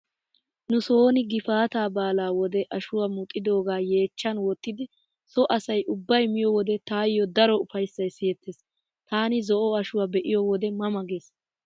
Nusooni gifaataa baalaa wode ashuwaa muxidoogaa yeechchan wottidi so asay ubbay miyo wode taayyo daro ufayssay siyettees. Taani zo'o ashuwaa be'iyo wodde ma ma gees.